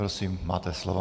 Prosím máte slovo.